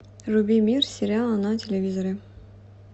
вруби мир сериала на телевизоре